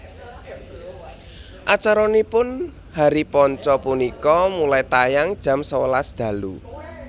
Acaranipun Hari Panca punika mulai tayang jam sewelas dalu